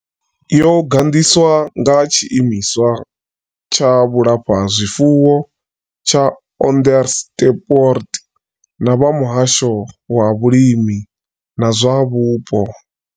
Yo gandiswa nga tshiimiswa tsha vhulafhazwifuwo tsha Onderstepoort na vha muhasho wa vhulimi na zwa vhupo.